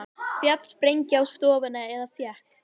Féll sprengja á stofuna eða fékk